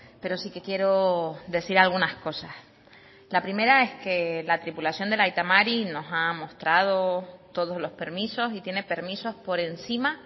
pero sí que quiero decir algunas cosas la primera es que la tripulación del aita mari nos ha mostrado todos los permisos y tiene permisos por encima